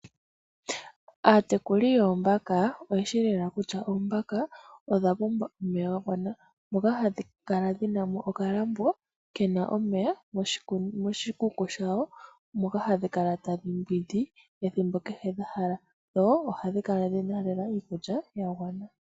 Aatekuli yoombaka oyeshi lela kutya oombaka odha pumbwa omeya ga gwana moka hadhi kala dhina mo okalambo kena omeya moshikuku shawo moka hadhi kala tadhi mbwindi ethimbo kehe dha hala dho ohadhi kala dhina lela iikulya ya gwana.